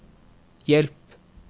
hjelp